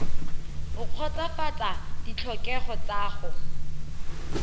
o kgotsofatsa ditlhokego tsa go